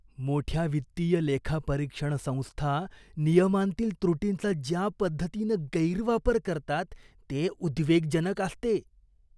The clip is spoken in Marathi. मोठ्या वित्तीय लेखापरीक्षण संस्था नियमांतील त्रुटींचा ज्या पद्धतीनं गैरवापर करतात ते उद्वेगजनक असते.